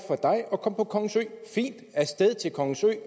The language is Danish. at komme på kongens ø fint af sted til kongens ø